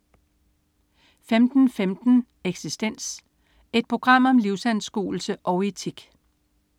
15.15 Eksistens. Et program om livsanskuelse og etik